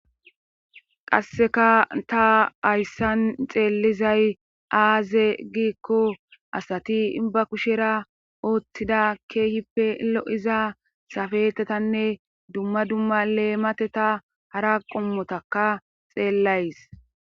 Qasseka ta hayssan xeellizay aaze giikko asati inba kushera oothtida keehippe lo7iza safetetanne dumma dumma leemate ta hara qommotaka xeellays.